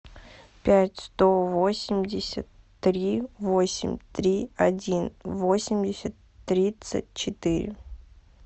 пять сто восемьдесят три восемь три один восемьдесят тридцать четыре